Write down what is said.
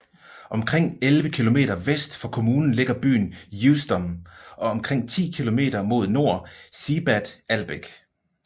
Omkring elleve kilometer vest for kommunen ligger byen Usedom og omkring 10 kilometer mod nord Seebad Ahlbeck